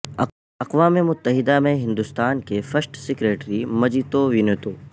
اقوام متحدہ میں ہندستان کے فرسٹ سکریٹری مجیتو ونیتو